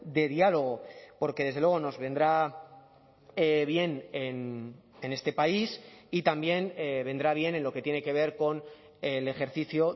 de diálogo porque desde luego nos vendrá bien en este país y también vendrá bien en lo que tiene que ver con el ejercicio